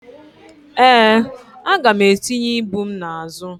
ee, aga m etinye ibu m n'azụ